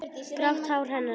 Grátt hár hennar er liðað.